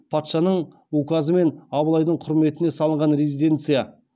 патшаның указымен абылайдың құрметіне салған резиденция